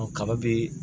Ɔ kaba be